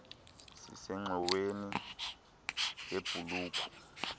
sisengxoweni yebh ulukh